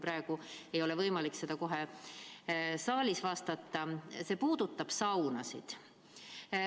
Aga küsimus puudutab saunasid.